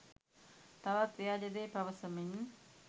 තවත් ව්‍යාජ දේ පවසමින්